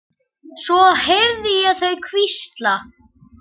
Svo heyrði ég þau hvísla.